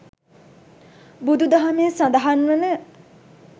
බුදු දහමේ සඳහන් වන